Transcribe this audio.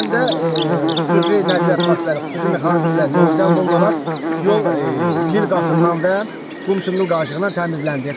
Həmin də xüsusi nəqliyyat vasitələri, xüsusi mexanizmlərin yola cəlb olunaraq yol lil qatından və qum-çınqıl daşlığından təmizləndi.